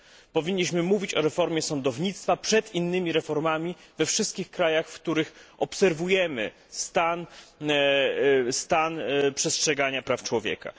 Powinniśmy mówić o reformie sądownictwa przed innymi reformami we wszystkich krajach, w których obserwujemy nieprzestrzeganie praw człowieka.